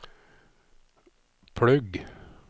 plugg